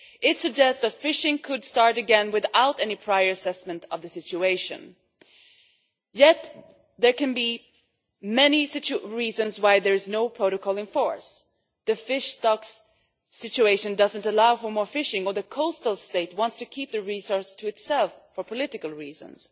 It suggests that fishing could start again without any prior assessment of the situation, yet there can be many reasons why there is no protocol in force for example that the fish stocks situation does not allow for more fishing or the coastal state wants to keep the resource to itself for political reasons.